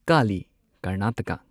Kali Karnataka